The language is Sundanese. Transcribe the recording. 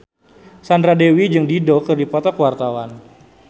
Sandra Dewi jeung Dido keur dipoto ku wartawan